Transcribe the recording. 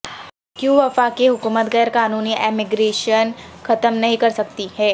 کیوں وفاقی حکومت غیر قانونی امیگریشن ختم نہیں کرسکتی ہے